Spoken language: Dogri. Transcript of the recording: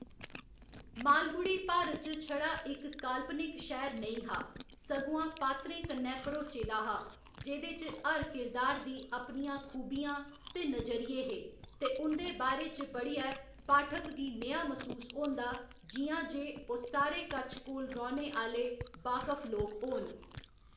मालगुडी भारत च छड़ा इक काल्पनिक शैह्‌र नेईं हा, सगुआं पात्रें कन्नै भरोचे दा हा, जेह्‌दे च हर किरदार दी अपनियां खूबियां ते नजरिये हे, ते उं'दे बारे च पढ़ियै पाठक गी नेहा मसूस होंदा जि'यां जे ओह्‌‌ सारे कच्छ­कोल रौह्‌‌‌ने आह्‌‌‌ले बाकफ लोक होन।